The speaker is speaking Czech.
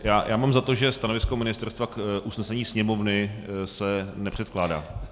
Já mám za to, že stanovisko ministerstva k usnesení Sněmovny se nepředkládá.